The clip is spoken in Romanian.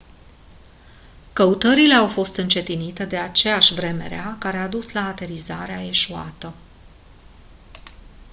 căutările au fost încetinite de aceeași vreme rea care a dus la aterizarea eșuată